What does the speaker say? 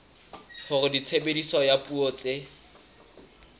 hore tshebediso ya dipuo tse